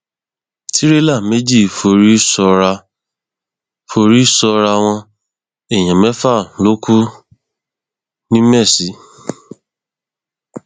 tìrẹlà méjì forí sọràá forí sọràá wọn èèyàn mẹfà ló kù ńìmesì